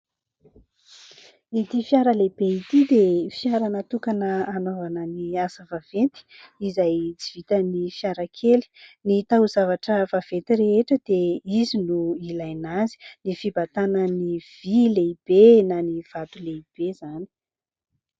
Ity fiara lehibe ity dia fiara natokana hanaovana ny asa vaventy izay tsy vitan'ny fiarakely. Ny tao-zavatra vaventy rehetra dia izy no ilaina azy, ny fibatana ny vy lehibe na ny vato lehibe izany.